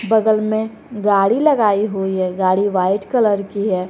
बगल में गाड़ी लगाई हुई है गाड़ी वाइट कलर की है।